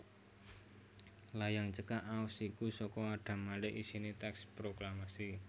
Layang cekak aos iku saka Adam Malik isiné tèks proklamasi